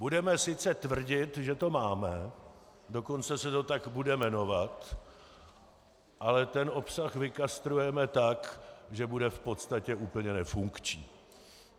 Budeme sice tvrdit, že to máme, dokonce se to tak bude jmenovat, ale ten obsah vykastrujeme tak, že bude v podstatě úplně nefunkční.